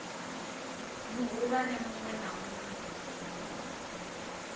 muhulwane munwe na munwe o